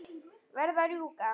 Verð að rjúka.